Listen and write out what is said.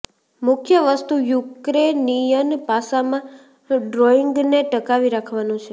મુખ્ય વસ્તુ યુક્રેનિયન પાસામાં ડ્રોઇંગને ટકાવી રાખવાનો છે